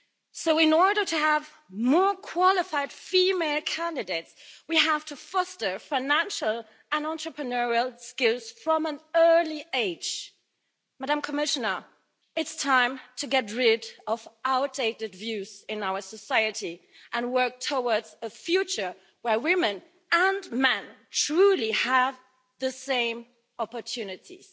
So in order to have more qualified female candidates, we have to foster financial and entrepreneurial skills from an early age. I urge the Commissioner, it's time to get rid of outdated views in our society and work towards a future where women and men truly have the same opportunities.